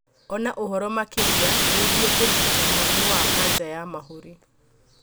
Ona ũhoro makĩria wĩgĩi kũrigita mũrimũ wa kanja ya mahuri